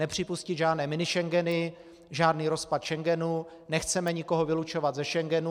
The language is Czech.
Nepřipustit žádné Minischengeny, žádný rozpad Schengenu, nechceme nikoho vylučovat ze Schengenu.